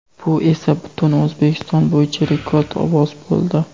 Bu esa butun O‘zbekiston bo‘yicha rekord ovoz bo‘ldi.